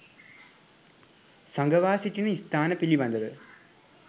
සඟවා සිටින ස්ථාන පිළිබඳව